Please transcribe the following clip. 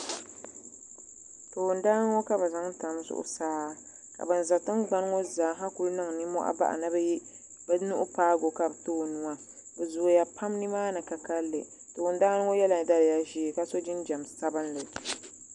toon dani ŋɔ ka bi zaŋ tam zuɣusaa ka bin ʒɛ tingbani ŋɔ zaa ku niŋ nimmohi bahi ni bi luɣu paagi o ka bi too nuwa bi zooya pam nimaani ka kanli toon dani ŋɔ yɛla daliya ʒiɛ ka so jinjɛm sabinli